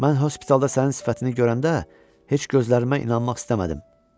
Mən hospitalda sənin sifətini görəndə heç gözlərimə inanmaq istəmədim.